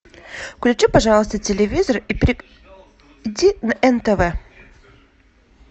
включи пожалуйста телевизор и перейди на нтв